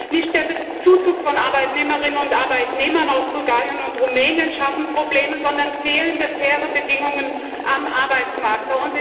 Nicht der Zuzug von Arbeitnehmerinnen und Arbeitnehmern aus Bulgarien und Rumänien schafft Probleme, sondern fehlende faire Bedingungen am Arbeitsmarkt.